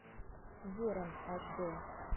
ворон аш дэ